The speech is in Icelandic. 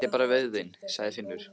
Þetta er bara vöðvinn, sagði Finnur.